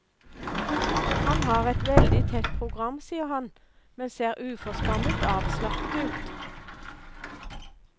Han har et veldig tett program sier han, men ser uforskammet avslappet ut.